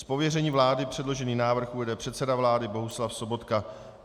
Z pověření vlády předložený návrh uvede předseda vlády Bohuslav Sobotka.